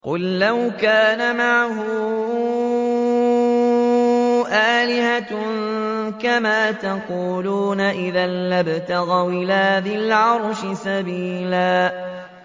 قُل لَّوْ كَانَ مَعَهُ آلِهَةٌ كَمَا يَقُولُونَ إِذًا لَّابْتَغَوْا إِلَىٰ ذِي الْعَرْشِ سَبِيلًا